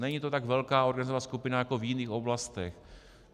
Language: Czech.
Není to tak velká organizovaná skupina jako v jiných oblastech.